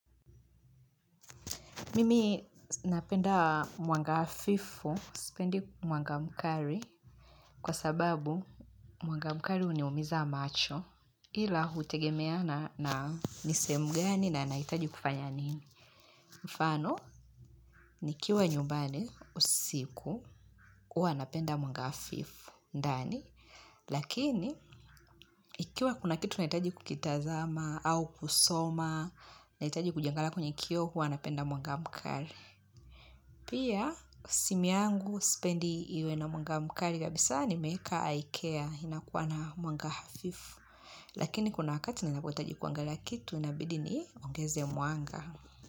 Mimi napenda mwanga hafifu, sipendi mwanga mkali kwa sababu mwanga mkali huniumiza macho ila hutegemea na ni sehemu gani na nahitaji kufanya nini. Mfano, nikiwa nyumbani usiku, huwa napenda mwanga hafifu, ndani, lakini, ikiwa kuna kitu nahitaji kukitazama, au kusoma, nahitaji kujiangalia kwenye kioo, huwa napenda mwanga mkali. Pia, simu yangu, sipendi iwe na mwanga mkali kabisa nimeeka eye care. Inakuwa na mwanga hafifu. Lakini kuna wakati ninapohitaji kuangalia kitu, inabidi niongeze mwanga.